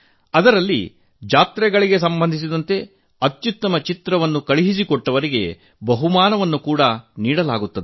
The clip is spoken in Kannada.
ಆಗ ಜಾತ್ರೆಗಳಿಗೆ ಸಂಬಂಧಿಸಿದ ಅತ್ಯುತ್ತಮ ಚಿತ್ರ ಕಳುಹಿಸಿಕೊಟ್ಟವರಿಗೆ ಬಹುಮಾನ ಕೂಡಾ ನೀಡಲಾಗುವುದು